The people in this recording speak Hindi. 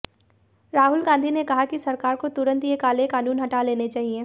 राहुल गांधी ने कहा कि सरकार को तुरंत ये काले कानून हटा लेने चाहिए